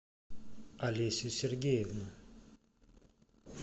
алесю сергеевну